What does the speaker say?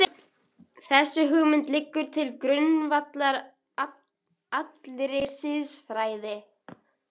Þessi hugmynd liggur til grundvallar allri siðfræði.